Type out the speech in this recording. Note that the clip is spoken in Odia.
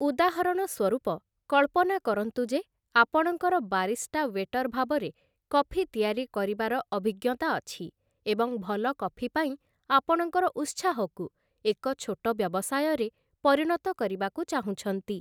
ଉଦାହରଣ ସ୍ୱରୂପ, କଳ୍ପନା କରନ୍ତୁ ଯେ ଆପଣଙ୍କର ବାରିଷ୍ଟା ୱେଟର ଭାବରେ କଫି ତିଆରି କରିବାର ଅଭିଜ୍ଞତା ଅଛି ଏବଂ ଭଲ କଫି ପାଇଁ ଆପଣଙ୍କର ଉତ୍ସାହକୁ ଏକ ଛୋଟ ବ୍ୟବସାୟରେ ପରିଣତ କରିବାକୁ ଚାହୁଁଛନ୍ତି ।